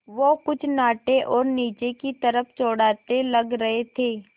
वो कुछ नाटे और नीचे की तरफ़ चौड़ाते लग रहे थे